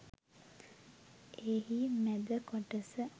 එහි මැද කොටස